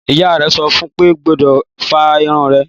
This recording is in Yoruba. Ìyá rè sọfún pe ogbọ́dọ̀ fá irun rè